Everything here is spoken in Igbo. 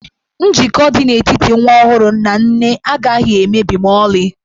Njikọ dị n'etiti nwa ọhụrụ na nne agaghị emebi ma ọlị.